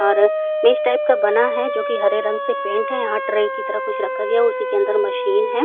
अर् मेज टाइप का बना है जोकि हर रंग से पेंट है। यहाँ ट्रे की तरह कुछ रखा गया उसी के अंदर मशीन है।